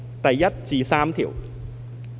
第1至3條。